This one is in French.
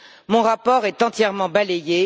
Mon rapport est entièrement balayé.